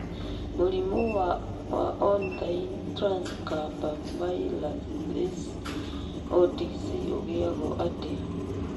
Mũrimũ wa ornithine transcarbamylase (OTC) ũgĩagũo atĩa?